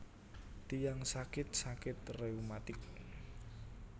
Tiyang sakit sakit reumatik